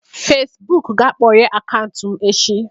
Facibụkụ ga-akpọghee akaụntụ m echi